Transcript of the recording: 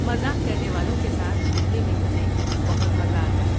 مزاح کرنے والوں کے ساتھ گھومنے میں مجھے بہت مزہ آتا ہے۔